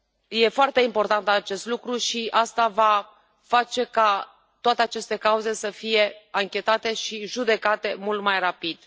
E foarte important acest lucru și asta va face ca toate aceste cauze să fie anchetate și judecate mult mai rapid.